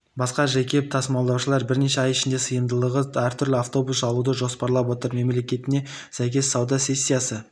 басқа жеке тасымалдаушылар бірнеше ай ішінде сыйымдылығы әртүрлі автобус алуды жоспарлап отыр мәліметіне сәйкес сауда сессиясы